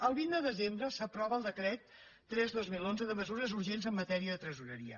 el vint de desembre s’aprova el decret tres dos mil onze de mesures urgents en matèria de tresoreria